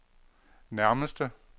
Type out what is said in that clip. nærmeste